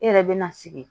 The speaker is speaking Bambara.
E yɛrɛ bɛ na sigi